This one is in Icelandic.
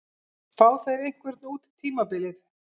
Fá þeir einhvern út tímabilið?